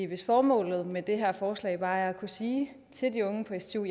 hvis formålet med det her forslag bare er at kunne sige til de unge på stu